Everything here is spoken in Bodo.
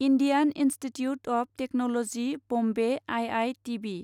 Indian Institute of Technology Bombay I I T B